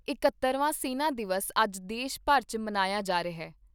ਇਕਹੱਤਰਵਾਂ ਸੈਨਾ ਦਿਵਸ ਅੱਜ ਦੇਸ਼ ਭਰ 'ਚ ਮਨਾਇਆ ਜਾ ਰਿਹਾ।